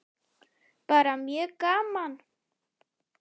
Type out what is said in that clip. Bara mjög gaman.